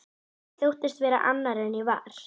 Ég þóttist vera annar en ég var.